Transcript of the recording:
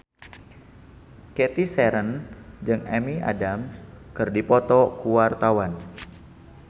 Cathy Sharon jeung Amy Adams keur dipoto ku wartawan